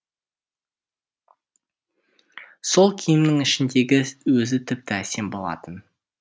сол киімнің ішіндегі өзі тіпті әсем болатын